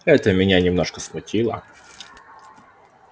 это меня немножко смутило